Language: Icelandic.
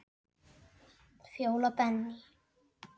Fjóla Benný.